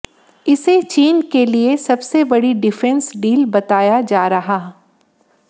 इसे चीन के लिए सबसे बड़ी डिफेंस डील बताया जा रहा